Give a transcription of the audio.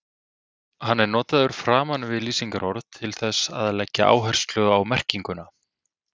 Hann er notaður framan við lýsingarorð til þess að leggja áherslu á merkinguna.